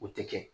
O tɛ kɛ